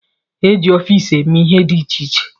E ji ọfiisi eme ihe dị iche iche.